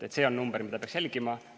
See on number, mida peaks jälgima.